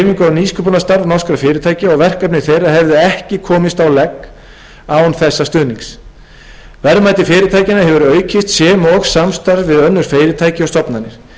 nýsköpunarstarf norskra fyrirtækja og verkefni þeirra hefðu ekki komist á legg án þessa stuðnings verðmæti fyrirtækjanna hefur aukist sem og samstarf við önnur fyrirtæki og stofnanir